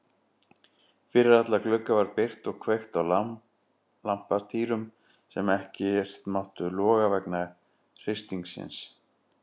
Fyrir alla glugga var byrgt og kveikt á lampatýrum sem ekkert máttu loga vegna hristingsins.